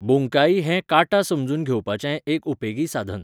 बुंकाई हें काटा समजून घेवपाचें एक उपेगी साधन.